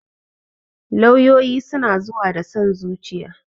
Lauyoyi suna zuwa da son zuciya